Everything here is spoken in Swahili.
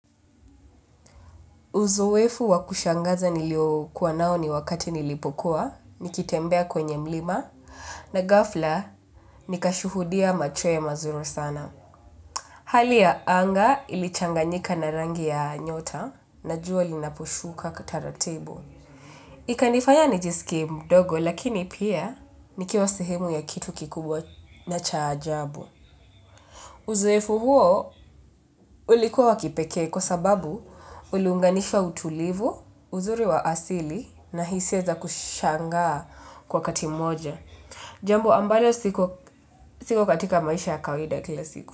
Uzoefu wakushangaza nilio kuwa nao ni wakati nilipokuwa, nikitembea kwenye mlima, na ghafla nikashuhudia machweo mazuri sana. Hali ya anga ilichanganyika narangi ya nyota na jua linaposhuka kataratibu. Ikanifanya nijisikie mdogo lakini pia nikiwa sehemu ya kitu kikubwa na chaajabu. Uzoefu huo ulikuwa wakipekee kwa sababu uliunganisha utulivu uzuri wa asili na hisia za kushangaa kwa wakati mmoja. Jambo ambalo siko siko katika maisha ya kawaida kila siku.